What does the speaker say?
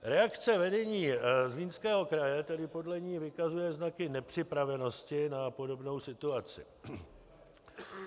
Reakce vedení Zlínského kraje tedy podle ní vykazuje znaky nepřipravenosti na podobnou situaci.